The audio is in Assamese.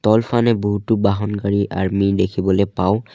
তলফানে বহুতো বাহন গাড়ী আৰ্মী দেখিবলে পাওঁ।